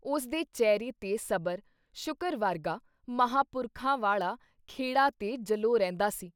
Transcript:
ਉਸ ਦੇ ਚੇਹਰੇ ਤੇ ਸਬਰ ਸ਼ੁਕਰ ਵਰਗਾ ਮਹਾਂਪੁਰਖਾਂ ਵਾਲ਼ਾ ਖੇੜਾ ਤੇ ਜਲੌਅ ਰਹਿੰਦਾ ਸੀ।